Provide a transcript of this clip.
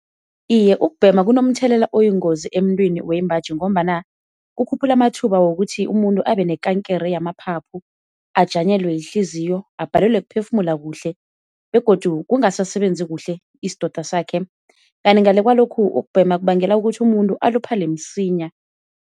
Iye ukubhema kunomthelela oyingozi emntwini wembaji ngombana kukhuphula amathuba wokuthi umuntu abe nekankere yamaphaphu, ajanyelwe yihliziyo, abhalelwe kuphefumula kuhle begodu kungasasebenzi kuhle isidoda sakhe. Kanti ngale kwalokhu ukubhema kubangela ukuthi umuntu aluphale msinya.